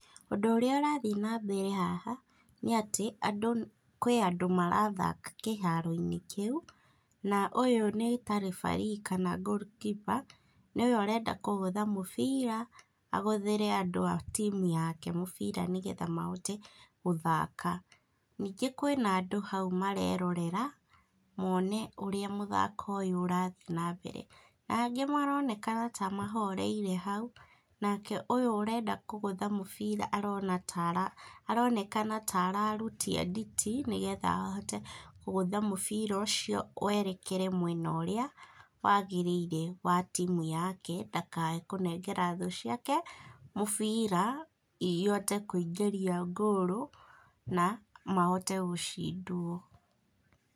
Ũndũ ũrĩa ũrathiĩ na mbere haha, nĩ atĩ andũ, kwĩ andũ marathaka kĩharo-inĩ kĩu, na ũyũ nĩ ta referee kana goal keeper, nĩwe areanda kũgũtha mũbira, agũthĩre andũ a timu yake mũbira, nĩgetha mahote gũthaka, ningĩ kwĩna andũ hau marerorera mone ũrĩa mũthako ũyũ ũrathiĩ na mbere, na angĩ maronekana ta mahoreire hau nake ũyũ ũrenda kũgũtha mũbira, aronekana ta ararutia nditi nĩgetha ahote kũgũtha mũbira ũcio werekere mwena ũrĩa wagĩrĩire wa timu yake ndakae kũnengera thũ ciake mũbira, ihote kũingĩria ngũru , na mahote gũcindwo.